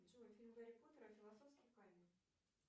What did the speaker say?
джой фильм гарри поттер и философский камень